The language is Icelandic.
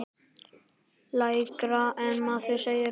Lægra en maður segir frá.